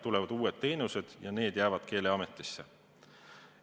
Tulevad uued teenused ja need jäävad Keeleameti kompetentsi.